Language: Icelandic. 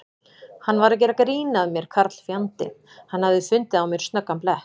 Hann var að gera grín að mér karlfjandinn, hann hafði fundið á mér snöggan blett.